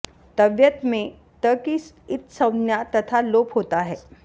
तव्यत् में त् की इत्संज्ञा तथा लोप होता है